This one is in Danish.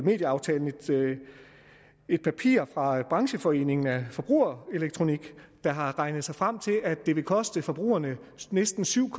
medieaftalen et papir fra brancheforeningen forbrugerelektronik der har regnet sig frem til at det vil koste forbrugerne næsten syv